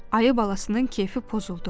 Ayı balasının keyfi pozuldu.